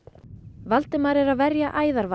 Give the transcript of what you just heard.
Valdimar er að verja æðarvarp